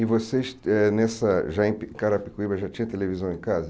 E vocês eh nessa... já em Carapicuíba já tinha televisão em casa?